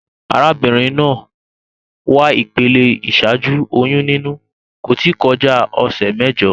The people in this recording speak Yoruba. Arábínrin naa wà ìpele ìsájú oyún níní, kò tí kolá òsè méjo